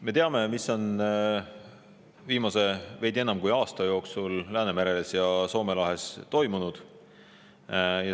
Me teame, mis on viimase veidi enam kui aasta jooksul Soome lahes ja mujal Läänemeres toimunud.